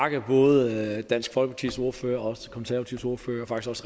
takke både dansk folkepartis ordfører og også konservatives ordfører